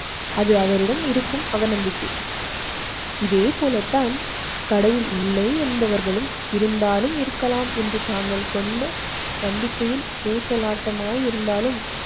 அது அவரிடம் இருக்கும் அவநம்பிக்கை. இதே போல தான் கடவுள் இல்லை என்பவர்களும் இருந்தாலும் இருக்கலாம் என்று தாங்கள் கொண்டு நம்பிக்கையில் ஊசலாட்டமாய் இருந்தாலும்